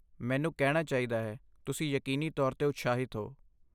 ਮੈਨੂੰ ਕਹਿਣਾ ਚਾਹੀਦਾ ਹੈ, ਤੁਸੀਂ ਯਕੀਨੀ ਤੌਰ 'ਤੇ ਉਤਸ਼ਾਹਿਤ ਹੋ।